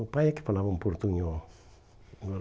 O pai é que falava um portunhol hum.